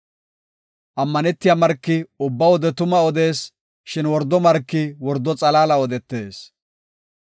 Ammanetiya marki ubba wode tuma odees; shin wordo marki wordo xalaala odetees.